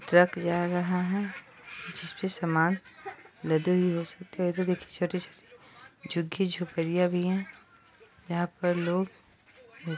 truck जा रहा है जिसपे सामान लदे भी हो सकते हैं इधर देखिये छोटी-छोटी झुगी-झोपड़ियाँ भी हैं जहाँ पर लोग --